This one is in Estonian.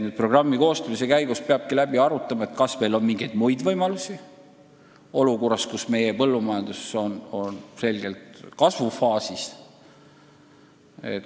Programmi koostamise käigus peab läbi arutama, kas meil on ehk mingeid muid võimalusi praeguses olukorras, kus meie põllumajandus on selgelt kasvufaasis.